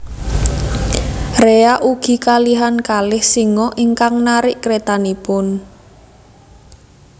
Rea ugi kalihan kalih singa ingkang narik kretanipun